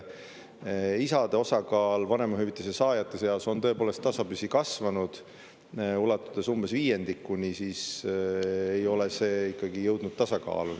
Isade osakaal vanemahüvitise saajate seas on tõepoolest tasapisi kasvanud, ulatudes umbes viiendikuni, aga ei ole see ikkagi jõudnud tasakaalu.